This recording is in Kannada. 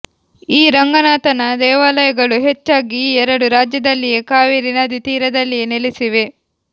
ಈ ರಂಗನಾಥನ ದೇವಾಲಯಗಳು ಹೆಚ್ಚಾಗಿ ಈ ಎರಡು ರಾಜ್ಯದಲ್ಲಿಯೇ ಕಾವೇರಿ ನದಿ ತೀರದಲ್ಲಿಯೇ ನೆಲೆಸಿವೆ